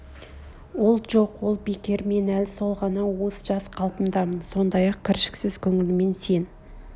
ол жоқ ол бекер мен әл сол ғана уыз жас қалпымдамын сондай ақ кіршіксіз көңілмен сен